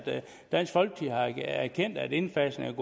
dansk folkeparti har erkendt at indfasningen